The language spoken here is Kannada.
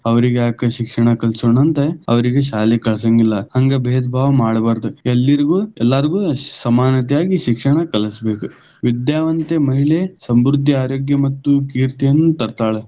ಅವರಿಗೆ ಯಾಕ ಶಿಕ್ಷಣ ಕಲಿಸೋಣ ಅಂತ ಅವರಿಗೆ ಶಾಲೆಗ ಕಳಸಂಗಿಲ್ಲ.ಹಂಗ ಬೇದ ಭಾವ ಮಾಡಬಾರದ ಎಲ್ಲರಿಗೂ ಎಲ್ಲಾಗು೯, ಸಮಾನತೆಯಾಗಿ ಶಿಕ್ಷಣ ಕಲಿಸಬೇಕ ವಿದ್ಯಾವಂತೆ ಮಹಿಳೆ ಸಮೃದ್ಧಿ, ಆರೋಗ್ಯ ಮತ್ತು ಕೀರ್ತಿಯನ್ನು ತರ್ತಾಳ್.